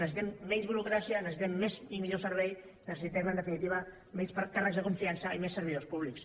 necessitem menys burocràcia necessitem més i millor servei necessitem en definitiva menys càrrecs de confiança i més servidors públics